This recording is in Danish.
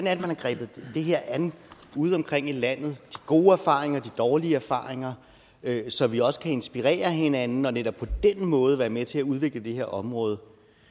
er man har grebet det her an udeomkring i landet de gode erfaringer og de dårlige erfaringer så vi også kan inspirere hinanden og netop på den måde være med til at udvikle det her område